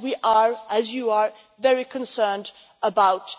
We are also, as you are, very concerned about